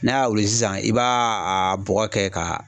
N'a y'a wuli sisan i ba a bɔgɔ kɛ ka